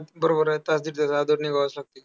बरोबर आहे. तास दीड तास आधी निघावंच लागणार.